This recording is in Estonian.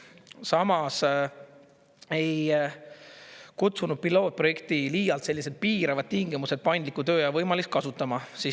Samas ei kutsunud pilootprojekti liialt piiravad tingimused paindliku tööaja võimalust kasutama.